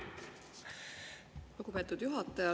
Lugupeetud juhataja!